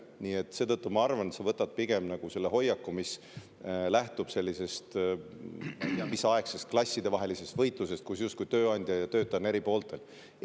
Nii et seetõttu ma arvan, et sa võtad pigem selle hoiaku, mis lähtub sellisest, ma ei tea mis ajast pärit klassivahelisest võitlusest, kus justkui tööandja ja töötaja on eri pooltel.